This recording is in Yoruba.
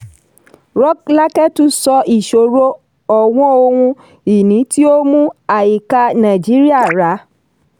rọ́lákẹ́ tún sọ ìṣòro ọ̀wọ́n ohun-ìní tí ó mú àìká nàìjíríà rà.